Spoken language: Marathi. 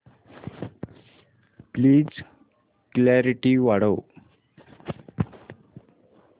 प्लीज क्ल्यारीटी वाढव